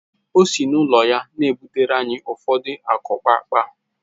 O si n’ụlọ butere anyị ụfọdụ akukpaakpa